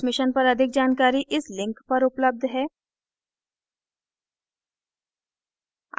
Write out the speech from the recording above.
इस mission पर अधिक जानकारी इस लिंक पर उपलब्ध है